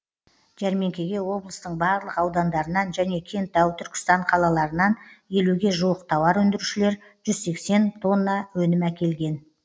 жәрмеңкеге облыстың барлық аудандарынан және кентау түркістан қалаларынан елуге жуық тауар өндірушілер жүз сексен тонна өнім әкелген